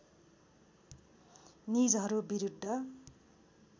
निजहरू विरुद्ध